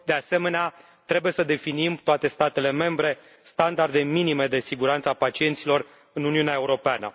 De asemenea, trebuie să definim, toate statele membre, standarde minime de siguranță a pacienților în Uniunea Europeană.